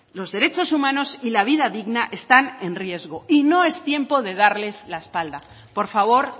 los derechos humanos y la vida digna están en riesgo y no es tiempo de darles la espalda por favor